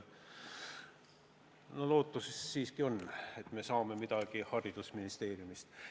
Lootus siiski on, et me saame midagi haridusministeeriumist.